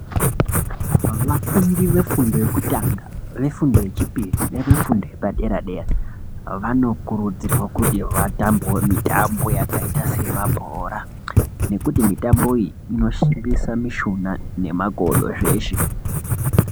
Vafundi vefundo yekutanga, vefundo yechipiri nevefundo yepadera dera vanokurudzirwa kuti vatambewo mitambo yakaita semabhora nekuti mitombo iyi inoshimbisa mishuna nemagodo zveshe.